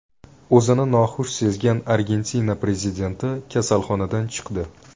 O‘zini noxush sezgan Argentina prezidenti kasalxonadan chiqdi.